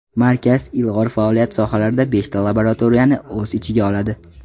Markaz ilg‘or faoliyat sohalarida beshta laboratoriyani o‘z ichiga oladi.